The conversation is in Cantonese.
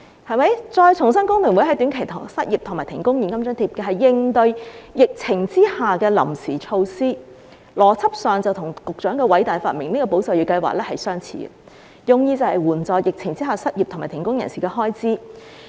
我重申，工聯會建議的短期失業和停工現金津貼是應對疫情的臨時措施，邏輯上與局長的偉大發明"保就業"計劃相似，用意是援助在疫情下失業和停工人士的開支。